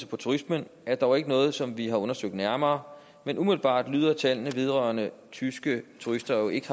på turismen er dog ikke noget som vi har undersøgt nærmere men umiddelbart tyder tallene vedrørende tyske turister jo ikke